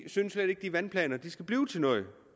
synes at de vandplaner skal blive til noget